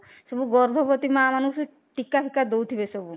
ସବୁ ଗର୍ଭବତୀ ମା ମାନଙ୍କୁ ଟୀକା ଦଉଥିବେ ସବୁ